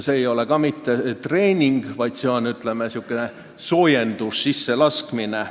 See ei ole ka mitte treening, vaid väike soojendus, sisselaskmine.